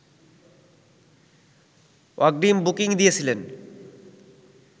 অগ্রিম বুকিং দিয়েছিলেন